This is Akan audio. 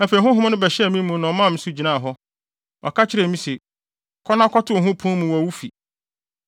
Afei Honhom no bɛhyɛɛ me mu na ɔmaa me so gyinaa hɔ. Ɔka kyerɛɛ me se, “Kɔ na kɔto wo ho pon mu wɔ wo fi.